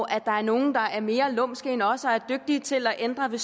at der er nogle der er mere lumske end os og som er dygtige til at ændre ved